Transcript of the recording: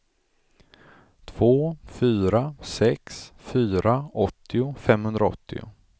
två fyra sex fyra åttio femhundraåttio